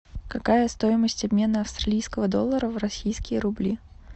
какая стоимость обмена австралийского доллара в российские рубли